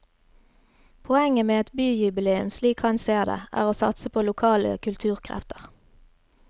Poenget med et byjubileum slik han ser det, er å satse på lokale kulturkrefter.